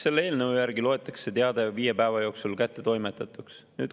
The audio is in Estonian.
Selle eelnõu järgi loetakse teade viie päeva jooksul kättetoimetatuks.